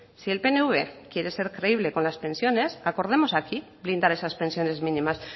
si el pnv quiere ser creíble con las pensiones acordemos aquí blindar esas pensiones mínimas